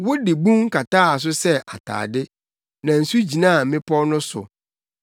Wode bun kataa so sɛ atade na nsu gyinaa mmepɔw no so.